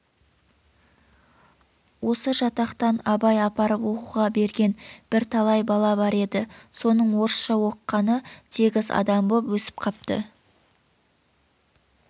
осы жатақтан абай апарып оқуға берген бір-талай бала бар еді соның орысша оқығаны тегіс адам боп өсіп қапты